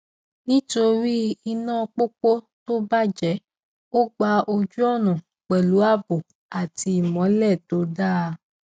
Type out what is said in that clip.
nítorí iná pópó tó bàjẹ ó gba ojúọnà pẹlú ààbò àti ìmọlẹ tó dáa